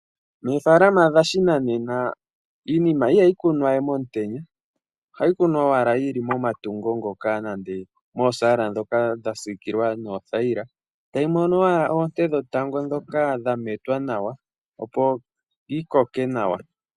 Moofaalama dhashinanena, iinima iha yi kunwa we momutenya, oha yi kunwa owala yi li momatungo ngoka nande moosaala ndhoka dha siikilwa noothaila, ta yi mono owala oonte dhetango ndhoka dha metwa nawa, opo yi koke nawa.